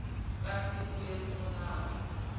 ka siku leri pfunaka ku